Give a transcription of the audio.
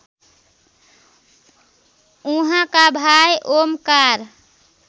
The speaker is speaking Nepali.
उहाँका भाइ ओमकार